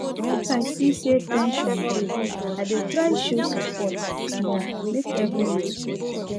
if i see say ten sion dey i dey try show support small make everywhere soft